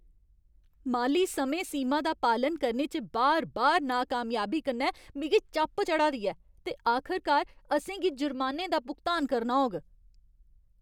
माली समें सीमा दा पालन करने च बार बार नाकामयाबी कन्नै मिगी चप चढ़ा दी ऐ ते आखरकार असें गी जुर्मानें दा भुगतान करना होग।